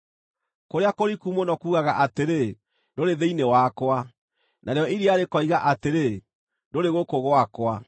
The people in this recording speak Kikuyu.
Kũrĩa kũriku mũno kuugaga atĩrĩ, ‘Ndũrĩ thĩinĩ wakwa’; narĩo iria rĩkoiga atĩrĩ, ‘Ndũrĩ gũkũ gwakwa.’